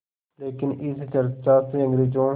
लेकिन इस चर्चा से अंग्रेज़ों